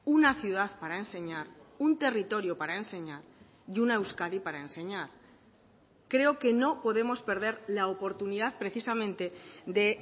una ciudad para enseñar un territorio para enseñar y una euskadi para enseñar creo que no podemos perder la oportunidad precisamente de